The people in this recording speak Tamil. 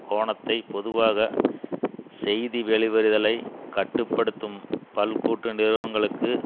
கோணத்தை பொதுவாக செய்தி வெளிவருதலை கட்டு படுத்தும் பல் கூட்டு நிறுவனங்களுக்கு